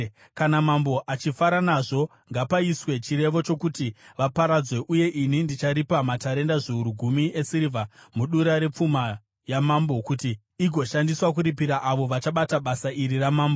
Kana mambo achifara nazvo, ngapaiswe chirevo chokuti vaparadzwe, uye ini ndicharipa matarenda zviuru gumi esirivha mudura repfuma yamambo kuti igoshandiswa kuripira avo vachabata basa iri ramambo.”